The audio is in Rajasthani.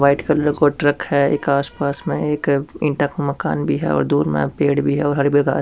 व्हाइट कलर को ट्रक है इक आस पास में एक इट्टे का मकान भी है और दूर में पेड़ भी है और हरी भरी घास --